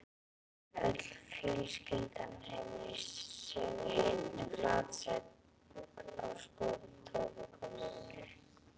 Öll fjölskyldan sefur í einni flatsæng á stofugólfinu.